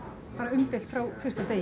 umdeilt frá fyrsta degi